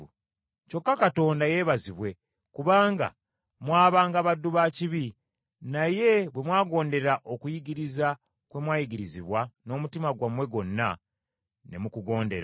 Kyokka Katonda yeebazibwe kubanga mwabanga baddu ba kibi, naye bwe mwagondera okuyigiriza kwe mwayigirizibwa n’omutima gwammwe gwonna, ne mukugondera.